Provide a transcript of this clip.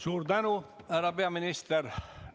Suur tänu, härra peaminister!